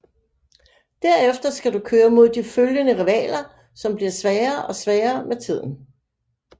Der efter skal du køre mod de følgende rivaler som bliver sværere og sværere med tiden